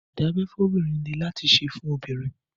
ìdábẹ́ fóbìnrin lé láti ṣe fún obìnrin.